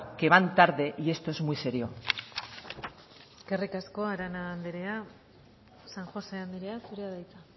que van tarde y esto es muy serio eskerrik asko arana andrea san josé andrea zurea da hitza